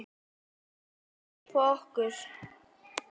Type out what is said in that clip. Hann grípa okkur.